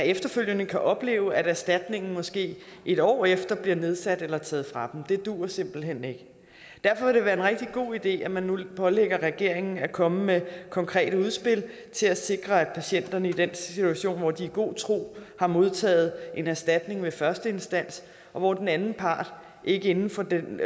efterfølgende kan opleve at erstatningen måske et år efter bliver nedsat eller taget fra dem det duer simpelt hen ikke derfor vil det være en rigtig god idé at man nu pålægger regeringen at komme med konkrete udspil til at sikre at patienterne i den situation hvor de i god tro har modtaget en erstatning ved første instans og hvor den anden part ikke inden for den